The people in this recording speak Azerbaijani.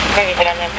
Niyə bilmədi?